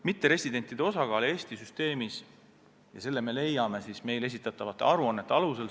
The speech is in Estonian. Mitteresidentide osakaalu Eesti süsteemis me teeme kindlaks meile esitatavate aruannete alusel.